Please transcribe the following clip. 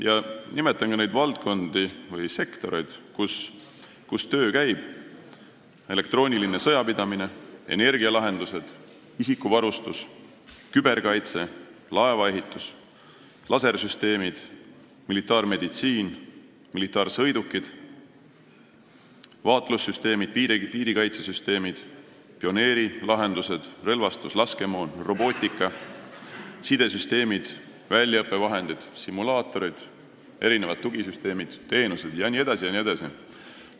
Ma nimetan ka neid sektoreid, kus töö käib: elektrooniline sõjapidamine, energialahendused, isikuvarustus, küberkaitse, laevaehitus, lasersüsteemid, militaarmeditsiin, militaarsõidukid, vaatlussüsteemid, piirikaitsesüsteemid, pioneerilahendused, relvastus, laskemoon, robootika, sidesüsteemid, väljaõppevahendid, simulaatorid, erinevad tugisüsteemid, teenused jne, jne.